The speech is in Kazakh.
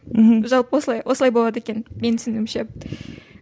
мхм жалпы осылай осылай болады екен менің түсінігімше